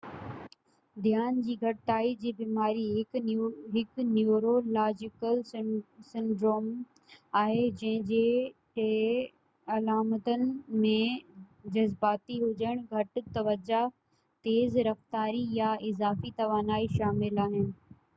ڌيان جي گهٽتائي جي بيماري هڪ نيورولاجيڪل سنڊوموم آهي جنهنجي ٽي علامتن ۾ جزباتي هجڻ گهٽ توجه تيز رفتاري يا اضافي توانائي شامل آهن